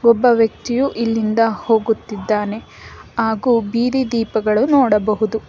ಒಬ್ಬ ವ್ಯಕ್ತಿಯು ಇಲ್ಲಿಂದ ಹೋಗುತ್ತಿದ್ದಾನೆ ಹಾಗೂ ಬೀದಿ ದೀಪಗಳು ನೋಡಬಹುದು.